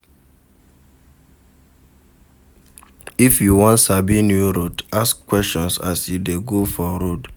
If you won sabi new route ask questions as you de go for road